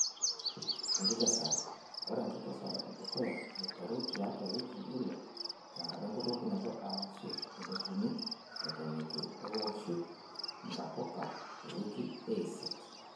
Enkikesare:Ore enkikesare edukuya aiteru tiatua wikii ile tenkata enkurokinoto arashu edotuni eton etu ewoshu ntapuka te wikii eisiet.